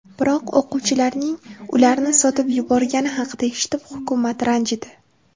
Biroq o‘quvchilarning ularni sotib yuborgani haqida eshitib, hukumat ranjidi.